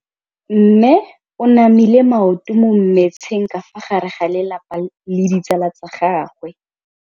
Mme o namile maoto mo mmetseng ka fa gare ga lelapa le ditsala tsa gagwe.